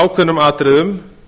ákveðnum atriðum